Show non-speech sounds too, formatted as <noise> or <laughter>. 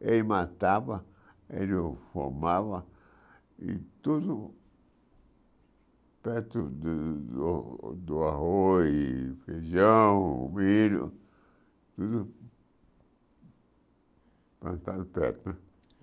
ele matava, ele fumava e tudo perto do do do arroz, feijão, milho, tudo <unintelligible> perto.